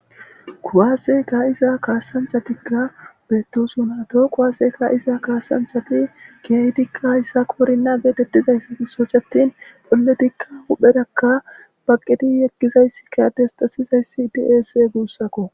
Kuwaaseka iza kaasanthatikka beettosunaato quwaaseka iza kaasanthati geeydikka hayssa koorinna geetettizayssaisocattin pholletikka hupherakka baqedi yeqkizayssi kadestasizayssi diese guussakko.